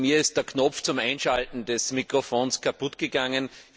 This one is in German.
Bei mir ist der Knopf zum Einschalten des Mikrofons kaputtgegangen.